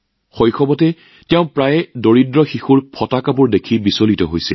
শৈশৱত তেওঁ প্ৰায়ে দুখীয়া লৰাছোৱালীৰ ফটা কাপোৰ দেখি অশান্তি পাইছিল